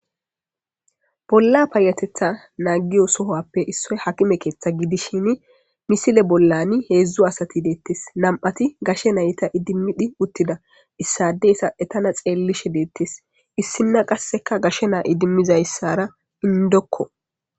Bolla kehatetha nagiyo sohuwappe isoyi hakime ketha gidishin misile bollani hedzdzu asati detees na,ati gashe nayita idimidi utida isadeka etana xelishe detees isina qasi gashe na,a idima utidra indoko